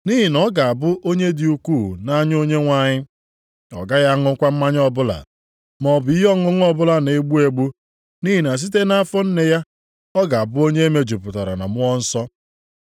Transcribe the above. Nʼihi na ọ ga-abụ onye dị ukwuu nʼanya Onyenwe anyị. Ọ gaghị aṅụkwa mmanya ọbụla, maọbụ ihe ọṅụṅụ ọbụla na-egbu egbu nʼihi na site nʼafọ nne ya ọ ga-abụ onye emejupụtara na Mmụọ Nsọ.